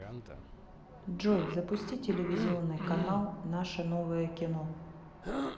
джой запусти телевизионный канал наше новое кино